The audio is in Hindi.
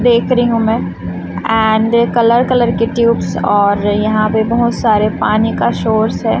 देख रही हूं मैं एंड कलर कलर के ट्यूब्स और यहां पे बहुत सारे पानी का सोर्स है।